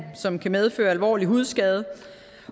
som kan medføre alvorlig hudskade